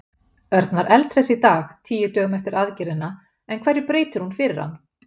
Örn var eldhress í dag, tíu dögum eftir aðgerðina, en hverju breytir hún fyrir hann?